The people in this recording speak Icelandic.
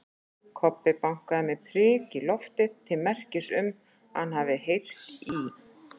Kobbi bankaði með priki í loftið til merkis um að hann hafi heyrt í